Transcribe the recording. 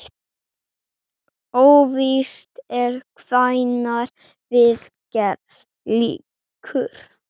Óvíst er hvenær viðgerð lýkur.